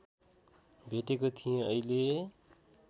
भेटेको थिएँ अहिले